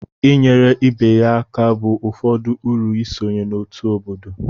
inyere ibe ya aka bụ ụfọdụ uru isonye n'otu obodo